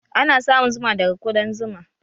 Ana samun zuma daga kuɗan zuma